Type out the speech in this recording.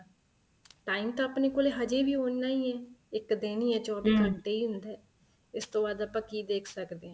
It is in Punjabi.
time ਤਾਂ ਆਪਣੇ ਕੋਲ ਅਜੇ ਵੀ ਉਹਨਾ ਹੀ ਏ ਇੱਕ ਦਿਨ ਹੀ ਏ ਚੋਵੀਂ ਘੰਟੇ ਹੀ ਹੁੰਦਾ ਏ ਇਸ ਤੋ ਵੱਧ ਆਪਾਂ ਕੀ ਦੇਖ ਸਕਦੇ ਹਾਂ